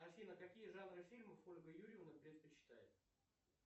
афина какие жанры фильмов ольга юрьевна предпочитает